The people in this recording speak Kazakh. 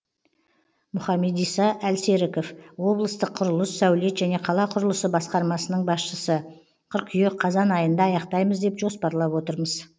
мұхамедиса әлсеріков облыстық құрылыс сәулет және қала құрылысы басқармасының басшысы қыркүйек қазан айында аяқтаймыз деп жоспарлап отырмыз